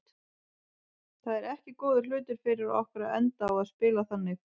Það er ekki góður hlutur fyrir okkur að enda á að spila þannig.